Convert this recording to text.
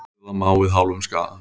Hirða má við hálfum skaða.